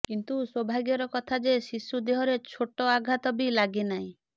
କିନ୍ତୁ ସୌଭାଗ୍ୟର କଥା ଯେ ଶିଶୁ ଦେହରେ ଛୋଟ ଆଘାତ ବି ଲାଗିନାହିଁ